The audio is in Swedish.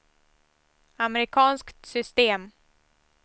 amerikanskt system